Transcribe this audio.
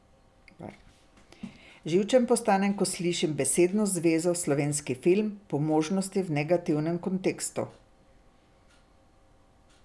Živčen postanem, ko slišim besedno zvezo slovenski film, po možnosti v negativnem kontekstu.